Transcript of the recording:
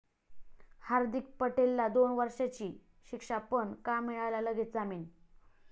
हार्दीक पटेलला दोन वर्षींची शिक्षा, पण का मिळाला लगेच जामीन?